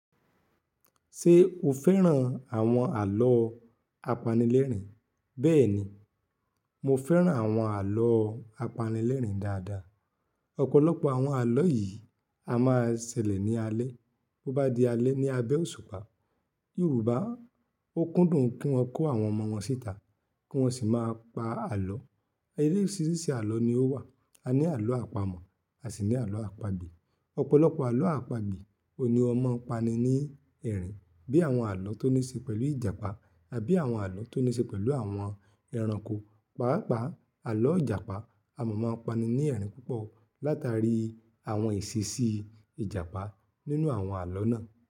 Ṣé o fẹ́ràn àwọn àlọ́ apanilẹ́rìn? Bẹ́ẹ̀ni, mo fẹ́ràn àwọn àlọ́ apanilẹ́rìn dáadáa. Ọ̀pọ̀lọpọ̀ àwọn àlọ́ yìí a máa ṣẹlẹ̀ ní alẹ́. Bo bá di alẹ́ ní abẹ́ òṣùpá, Yorùbá ó kúndùn kí wọ́n kó àwọn ọmọ wọn síta kí wọ́n sì máa pa àlọ́. Orisíriṣi àlọ́ ni ó wà. A ní àlọ́ àpamọ̀, a sì ní àlọ́ àpagbè. Ọ̀pọ̀lọpọ̀ àlọ́ àpagbè ò ní ọ mọ pani ní ẹ̀rín bí i àwọn àlọ́ tó ní ṣe pẹ̀lú Ìjàpá tàbí àwọn àlọ́ tó ní ṣe pẹ̀lú àwọn ẹranko. Páápàá, àlọ́ Ìjàpá a mọ̀ mọ́ pani ní ẹ̀rín púpọ̀ látàrí àwọn ìṣísí Ìjàpá nínú àwọn àlọ́ náà.